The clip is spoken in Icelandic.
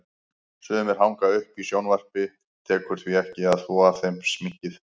Sumir hanga uppi í sjónvarpi, tekur því ekki að þvo af þeim sminkið.